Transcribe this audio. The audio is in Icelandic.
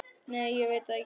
Nei ég veit það ekki.